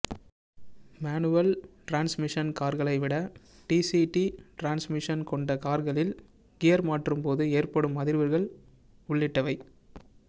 manual transmission கார்களைவிட DCT transmission கொண்ட கார்களில் கியர் மாற்றும்போது ஏற்படும் அதிர்வுகள் உள்ளிட்டவை